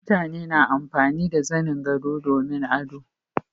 mutane na amfani da zanin gado domin ado